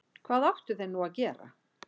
Hvað áttu þeir nú að gera?